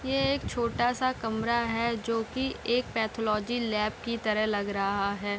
ये एक छोटा-सा कमरा है जो की एक पैथोलॉजी लैब की तरह लग रहा है।